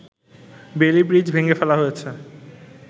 Bailey bridge ভেঙে ফেলা হয়েছে